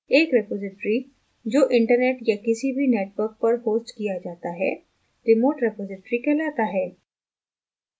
एक रिपॉज़िटरी जो internet या किसी भी network पर होस्ट किया जाता है remote repository कहलाता है